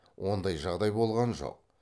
ондай жағдай болған жоқ